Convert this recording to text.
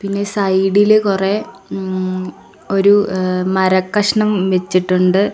പിന്നെ സൈഡ് ഇൽ കുറേ ങ് ഒരു എ മരക്കഷണം വെച്ചിട്ടുണ്ട്.